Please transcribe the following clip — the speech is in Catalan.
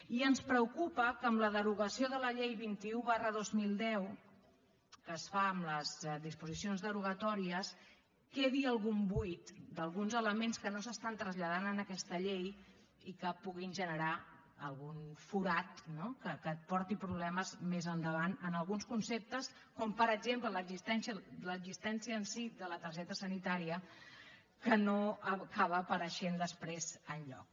i ens preocupa que amb la derogació de la llei vint un dos mil deu que es fa amb les disposicions derogatòries quedi algun buit d’alguns elements que no s’estan traslladant en aquesta llei i que puguin generar algun forat no que porti problemes més endavant en alguns conceptes com per exemple l’existència en si de la targeta sanitària que no acaba apareixent després enlloc